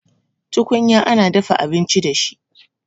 Tukunya ana dafa abinci da shi